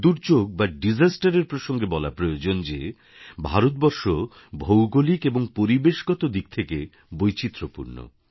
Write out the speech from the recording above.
দুর্যোগ বা দিশাস্তের এর প্রসঙ্গে বলা প্রয়োজন যে ভারতবর্ষ ভৌগোলিক এবং পরিবেশগত দিক থেকে বৈচিত্র্যপূর্ণ